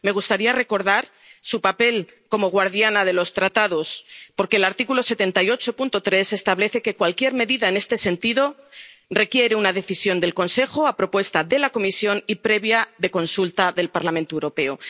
Me gustaría recordar su papel como guardiana de los Tratados, porque el artículo 78, apartado 3, del TFUE establece que cualquier medida en este sentido requiere una decisión del Consejo a propuesta de la Comisión y previa consulta del Parlamento Europeo.